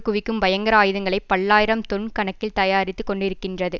குவிக்கும் பயங்கர ஆயுதங்களை பல்லாயிரம் தொன் கணக்கில் தயாரித்து கொண்டிருக்கின்றது